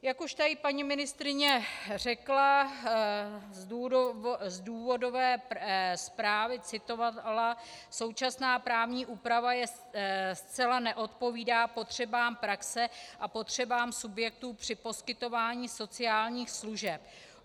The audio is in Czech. Jak už tady paní ministryně řekla, z důvodové zprávy citovala, současná právní úprava zcela neodpovídá potřebám praxe a potřebám subjektů při poskytování sociálních služeb.